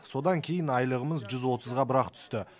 содан кейін айлығымыз жүз отызға бірақ түсті